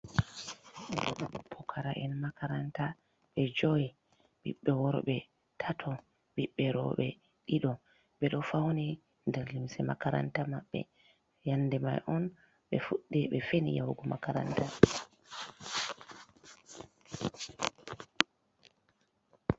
Pukara’en makaranta ɓe joyi, ɓiɓɓe worɓe tato, ɓiɓɓe rooɓe ɗiɗo ɓe ɗo fawni nder limse makaranta maɓɓe, yannde may on ɓe fuɗɗi ɓe feni yahugo makaranta.